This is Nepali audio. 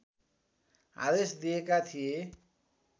आदेश दिएका थिए